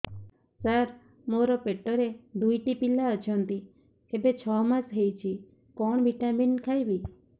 ସାର ମୋର ପେଟରେ ଦୁଇଟି ପିଲା ଅଛନ୍ତି ଏବେ ଛଅ ମାସ ହେଇଛି କଣ ଭିଟାମିନ ଖାଇବି